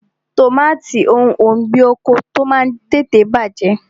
Tọmatì òun ọ̀gbín oko ti o Máà ń tètè bàjẹ́.